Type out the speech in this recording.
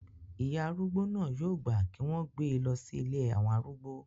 ìyá arúgbó náà yóò gbà kí wọ́n gbé e lọ sí ilé àwọn arúgbó